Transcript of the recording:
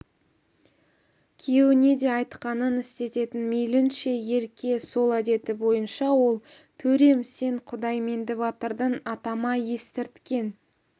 күйеуіне де айтқанын істететін мейлінше ерке сол әдеті бойынша ол төрем сен құдайменді батырдың атама естірткен